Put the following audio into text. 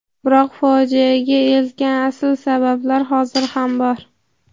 biroq fojiaga eltgan asl sabablar hozir ham bor.